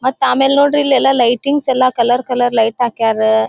ಮತ್ತ ಆಮೇಲೆ ನೋಡ್ರಿ ಇಲ್ಲಿ ಎಲ್ಲ ಲೈಟಿಂಗ್ಸ್ ಎಲ್ಲ ಕಲರ್ ಕಲರ್ ಲೈಟ್ ಹಾಕ್ಯಾರ .